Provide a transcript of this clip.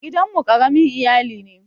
Gidan mu ƙaramin iyali ne.